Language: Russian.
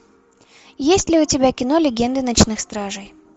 есть ли у тебя кино легенды ночных стражей